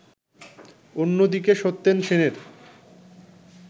অন্যদিকে সত্যেন সেনের